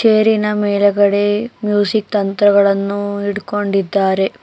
ಚೇರಿನ ಮೇಲೆಗಡೆ ಮ್ಯೂಸಿಕ್ ತಂತ್ರಗಳನ್ನು ಇಟ್ಕೊಂಡಿದ್ದಾರೆ.